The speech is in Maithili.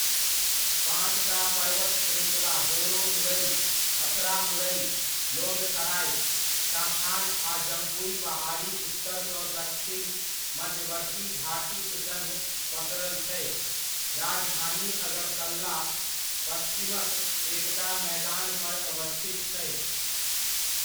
पाँचटा पर्वत श्रृङ्खला बोरोमुड़इ, अथरामुड़इ, लोंगथराइ, शाखान आ जम्पुइ पहाड़ी उत्तरसँ दक्षिण मध्यवर्ती घाटीक सङ्ग पसरल छै, राजधानी अगरतला पश्चिमक एकटा मैदानपर अवस्थित छै।